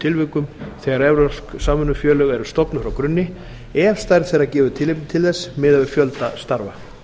tilvikum þegar evrópsk samvinnufélög eru stofnuð frá grunni ef stærð þeirra gefur tilefni til þess miðað við fjölda starfa